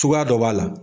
Cogoya dɔ b'a la